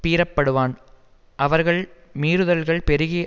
பீறப்படுவான் அவர்கள் மீறுதல்கள் பெருகி